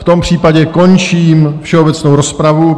V tom případě končím všeobecnou rozpravu.